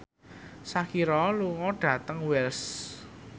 Shakira lunga dhateng Wells